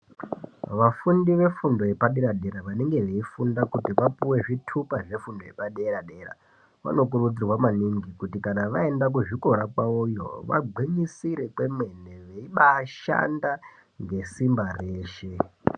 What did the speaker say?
Vafundi vefundo yepadera-dera vanenge veifunda kuti vapuwe zvitupa zvefundo yepadera-dera vanokurudzirwa maningi kuti kana vaenda kuzvikora kwavoyo vagwinyisire kwemene veibashandaa ngesimba reshe.